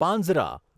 પાંઝરા